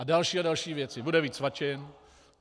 A další a další věci - bude víc svačin.